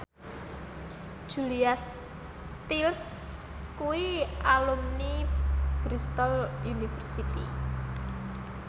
Julia Stiles kuwi alumni Bristol university